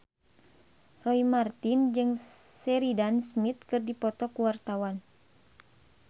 Roy Marten jeung Sheridan Smith keur dipoto ku wartawan